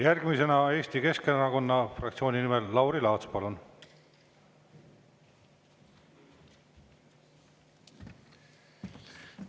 Järgmisena Eesti Keskerakonna fraktsiooni nimel Lauri Laats, palun!